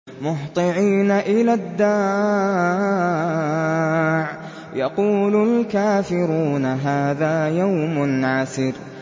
مُّهْطِعِينَ إِلَى الدَّاعِ ۖ يَقُولُ الْكَافِرُونَ هَٰذَا يَوْمٌ عَسِرٌ